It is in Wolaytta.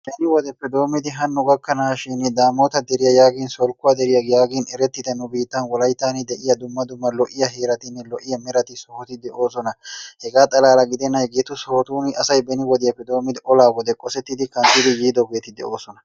beni wodeppe hanno gakanaashin daamota deriya yaagin solkkuwa deroya yaagin gita nu biitani woklayttani de'iya dumma dumma lo'iya heeratinne lo'iya mootati de'oosona hegaa xalla gidennan asay hegeetu sohotuni beni wodiyappe doomidi olaa wode qosetidi nkanttidi yiidoogeeti de'oosona.